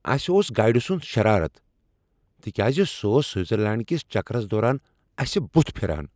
اسہ اوس گایڈٕ سنٛد شرارتھ تِکیازِ سُہ اوس سوٹزرلینٛڈ کس چکرس دوران اسہ بتھ پھران۔